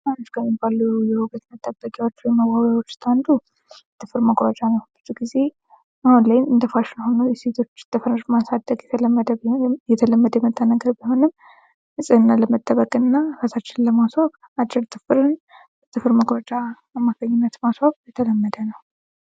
አንዱ ከሚባሉ የውበት መጠበቂያዎች ውስጥ አንዱ ጥፍር መቁረጫ ነው። ብዙ ጊዜ እንደፋሽን ላይ ሆኖ የሴቶች ጥፍር ማሳደግ የተለመደ ቢሆንም ንጽህና ለመጠበቅና እራሳችንን ለማስዋብ አጭርን ጥፍ በጥፍር መቁረጫን ተጠቅመው ማስዋብ የተለመደ ነው።